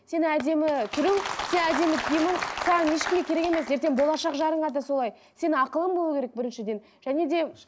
сен әдемі түрің сенің әдемі киімің саған ешкімге керек емес ертең болашақ жарыңа да солай сенің ақылың болу керек біріншіден және де